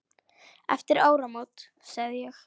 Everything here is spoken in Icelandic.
Eftir áramót sagði ég.